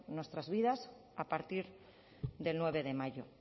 nuestras vidas a partir del nueve de mayo